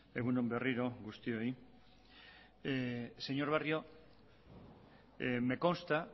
egun on berriro guztioi señor barrio me consta